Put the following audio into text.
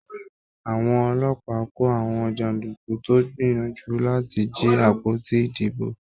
Àwọn ọlọ́pàá kò àwọn janduku tó gbìyànjú láti jí àpótí ìdìbò.